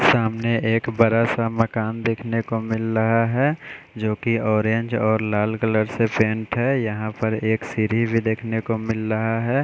सामने एक बड़ा-सा मकान देखने को मिल रहा है जो कि ऑरेंज और लाल कलर से पेंट है यहाँ पर एक सीढ़ी भी देखने को मिल रहा है।